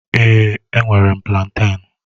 Èé, enwere m plantén